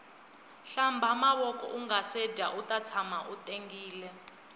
hlamba mavoko ungase dya uta tshama u tengile